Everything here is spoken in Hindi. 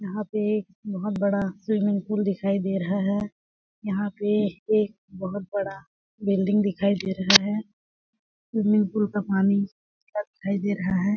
यहाँ पे बहोत बड़ा स्विमिंग पुल दिख रहा है यहाँ पे एक बहोत बड़ा बिल्डिंग देखई दे रहा है स्विमिंग पुल का पानी अच्छा दिखाई दे रहा है।